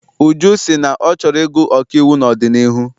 Uju sị na ọ chọrọ ịgụ ọkaiwu n'ọdịnihu.